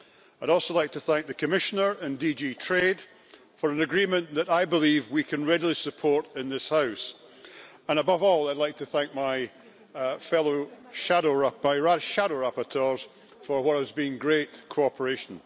I'd also like to thank the Commissioner and DG Trade for an agreement that I believe we can readily support in this House, and above all, I'd like to thank my shadow rapporteurs for what has been great cooperation.